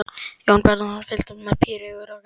Jón Bjarnason fylgdist með píreygur af gremju.